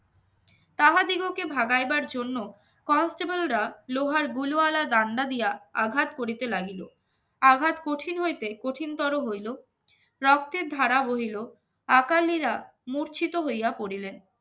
তাহাদিগকে ভাগাইবার জন্য constable রা লোহার ব্লুয়ালা ডান্ডা দিয়া আঘাত করিতে লাগিল আঘাত কঠিন হইতে কঠিনতর হইল রক্তের ধারা বহিলো আকালীরা মরছিত হইয়া পরিলেন